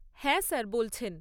হ্যাঁ স্যার বলছেন।